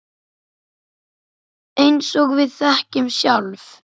Eins og við þekkjum sjálf.